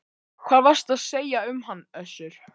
Hvað varstu að segja um hann Össur?